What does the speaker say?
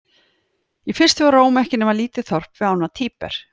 Í fyrstu var Róm ekki nema lítið þorp við ána Tíber.